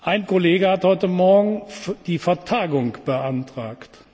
Ein Kollege hat heute Morgen die Vertagung beantragt.